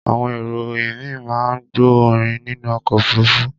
Àwọn èrò ìmíì máa ń gbọ́ orin nínú ọkọ̀ òfuruufú.